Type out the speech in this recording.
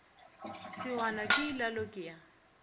sehwana ke ilalo ke ya